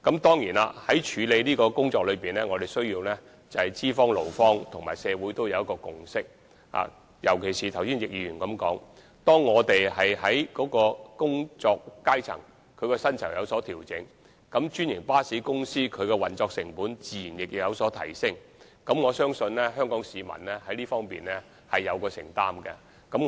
當然，在處理這項工作時，資方、勞方和社會均須達成共識，尤其是正如易議員剛才所說，當調整薪酬時，專營巴士公司的運作成本自然有所提升，我相信香港市民在這方面是有承擔的。